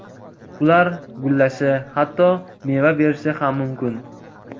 Ular gullashi, hatto meva berishi ham mumkin.